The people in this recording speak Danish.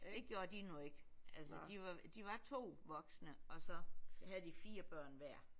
Det gjorde de nu ikke altså de var de var to voksne og så havde de fire børn hver